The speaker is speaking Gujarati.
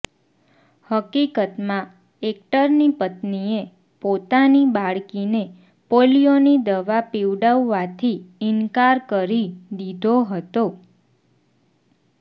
હકીકતમાં એક્ટરની પત્નીએ પોતાની બાળકીને પોલીયોની દવા પીવડાવવાથી ઇનકાર કરી દીધો હતો